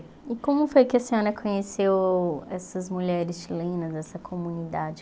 E como foi que a senhora conheceu essas mulheres chilenas, essa comunidade?